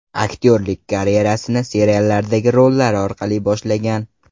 Aktyorlik karyerasini seriallardagi rollari orqali boshlagan.